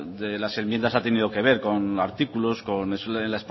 de las enmiendas ha tenido que ver con artículos con la